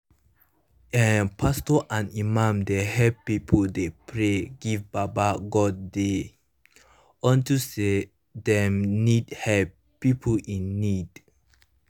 eh pastos and imams dey helep pipu dey pray give baba godey unto say dem need helep pipu in need